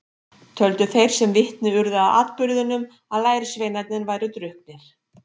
Töldu þeir sem vitni urðu að atburðinum að lærisveinarnir væru drukknir.